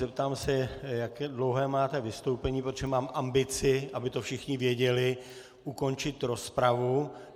Zeptám se, jak dlouhé máte vystoupení, protože mám ambici, aby to všichni věděli, ukončit rozpravu.